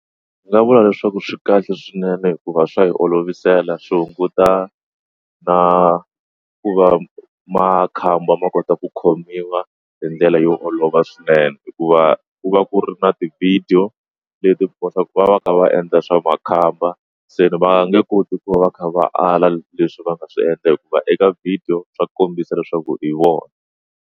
Ndzi nga vula leswaku swi kahle swinene hikuva swa hi olovisela swi hunguta na ku va makhamba ma kota ku khomiwa hi ndlela yo olova swinene hikuva ku va ku ri na ti-video leti kotaka ku va va ka va endla swa makhamba se va nge koti ku va va kha va ala leswi va nga swi endla hikuva eka video swa kombisa leswaku i vona.